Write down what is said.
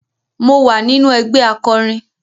Mo wà nínú ẹgbẹ́ akọrin